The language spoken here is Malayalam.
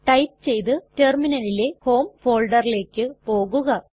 ടൈപ്പ് ചെയ്തു റ്റെർമിനലിലെ ഹോം folderലേക്ക് പോകുക